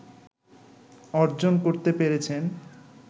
অর্জন করতে পেরেছেন